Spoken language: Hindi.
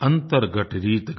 अंतर्घट रीत गया